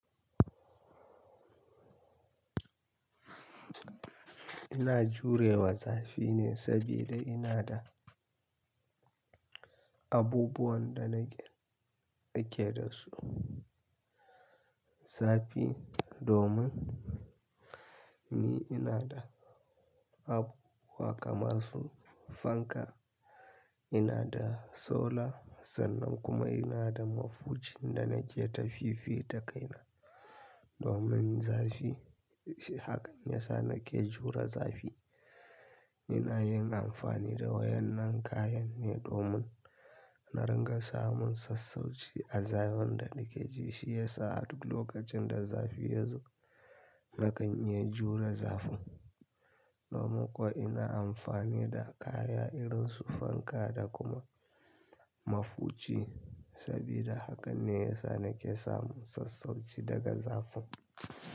Ina jurewa zafine sabida inada abubuwan da nake, ake dasu zafi domin ni inada abubuwa kamar su fanka, inada solar sannan kuma inada mafuci da nake tafifi da kaina domin zafi. Hakan yasa nake jure zafi. Ina yin amfani da waɗannan kayanne domin na ringa samun sassauci a zafin da nakeji. Shiyasa a duk lokacinda zafi yazo, nakan iya jure zafin. Domin kuwa ina amfani da kaya irin su fanka da kuma mafuci sabida hakanne yasa nake samun sassauci daga zafin.